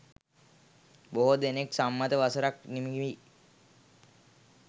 බොහෝ දෙනෙක් සම්මත වසරක් නිම වී